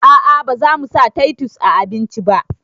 A'a bazamu sa taitus a abinci ba